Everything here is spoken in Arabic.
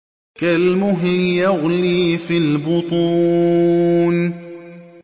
كَالْمُهْلِ يَغْلِي فِي الْبُطُونِ